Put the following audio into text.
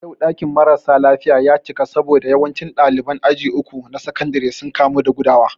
Yau ɗakin mara sa lafiya ya cika saboda yawancin ɗaliban aji uku na sakandare sun kamu da gudawa